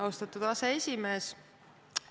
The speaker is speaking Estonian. Austatud aseesimees!